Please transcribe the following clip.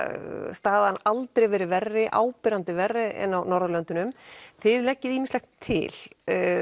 staðan aldrei verið verri og áberandi verri en á Norðurlöndunum þið leggið ýmislegt til